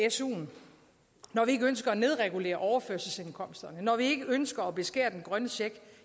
i suen når vi ikke ønsker at nedregulere overførselsindkomsterne når vi ikke ønsker at beskære den grønne check